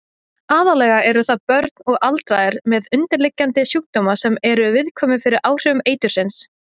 Aðallega eru það börn og aldraðir með undirliggjandi sjúkdóma sem eru viðkvæmir fyrir áhrifum eitursins.